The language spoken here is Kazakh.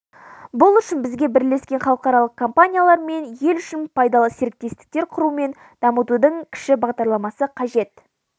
бұл үшін бізге бірлескен халықаралық компаниялар мен ел үшін пайдалы серіктестіктер құру мен дамытудың кіші бағдарламасы қажет